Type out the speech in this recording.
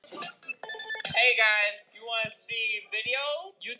Nei takk, ég er orðinn pakksaddur